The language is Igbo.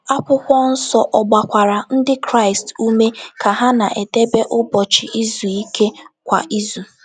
Akwụkwọ nsọ ọ̀ gbakwara Ndị Kraịst ume ka ha na - edebe Ụbọchị Izu Ike kwa izu?